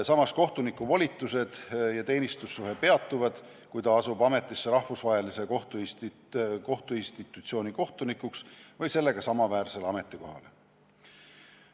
Samas, kohtuniku volitused ja teenistussuhe peatuvad, kui ta asub ametisse rahvusvahelise kohtuinstitutsiooni kohtunikuks või sellega samaväärsele ametikohale.